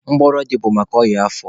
Mgbọrọdị bụ maka ọnya afọ